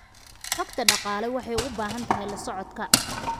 Xogta dhaqaale waxay u baahan tahay la socodka.